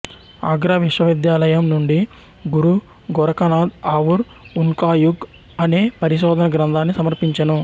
ఆగ్రా విశ్వవిద్యాలయం నుండి గురు గొరఖనాథ్ అవుర్ ఉన్ కా యుగ్ అనే పరిశోధనా గ్రంథాన్ని సమర్పించెను